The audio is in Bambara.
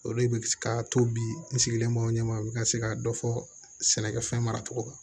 Olu bɛ ka to bi n sigilen b'aw ɲɛmaa u bɛ ka se ka dɔ fɔ sɛnɛkɛfɛn mara cogo kan